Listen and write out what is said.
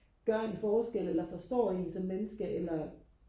gør en forskel eller forstår en som menneske eller